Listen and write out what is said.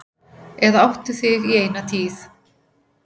Eða áttu þig í eina tíð.